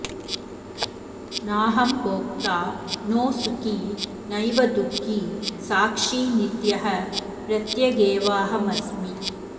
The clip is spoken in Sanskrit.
नाहं भोक्ता नो सुखी नैव दुःखी साक्षी नित्यः प्रत्यगेवाहमस्मि